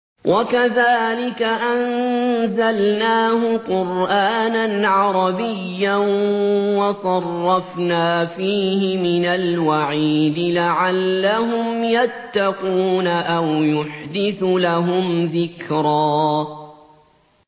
وَكَذَٰلِكَ أَنزَلْنَاهُ قُرْآنًا عَرَبِيًّا وَصَرَّفْنَا فِيهِ مِنَ الْوَعِيدِ لَعَلَّهُمْ يَتَّقُونَ أَوْ يُحْدِثُ لَهُمْ ذِكْرًا